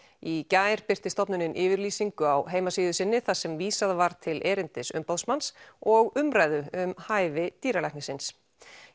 í gær birti stofnunin yfirlýsingu á heimasíðu sinni þar sem vísað var til erindis umboðsmanns og umræðu um hæfi dýralæknisins